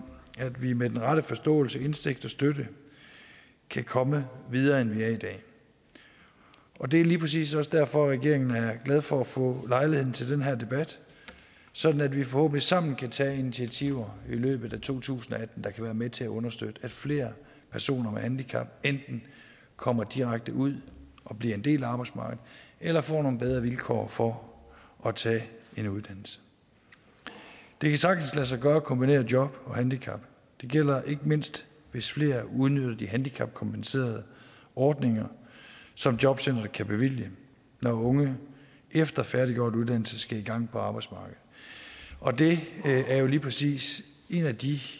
at vi med den rette forståelse indsigt og støtte kan komme videre end vi er i dag og det er lige præcis også derfor at regeringen er glad for at få lejligheden til den her debat sådan at vi forhåbentlig sammen kan tage initiativer i løbet af to tusind og atten der kan være med til at understøtte at flere personer med handicap enten kommer direkte ud og bliver en del af arbejdsmarkedet eller får nogle bedre vilkår for at tage en uddannelse det kan sagtens lade sig gøre at kombinere job og handicap det gælder ikke mindst hvis flere udnytter de handicapkompenserende ordninger som jobcenteret kan bevilge når unge efter færdiggjort uddannelse skal i gang på arbejdsmarkedet og det er jo lige præcis en af de